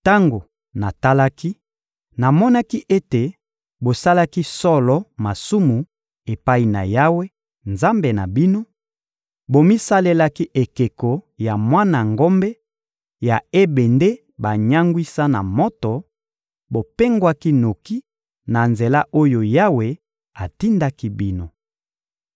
Tango natalaki, namonaki ete bosalaki solo masumu epai na Yawe, Nzambe na bino: bomisalelaki ekeko ya mwana ngombe ya ebende banyangwisa na moto; bopengwaki noki na nzela oyo Yawe atindaki bino.